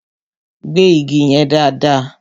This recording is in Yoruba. Gbẹ́ igi yẹn dáàdaa!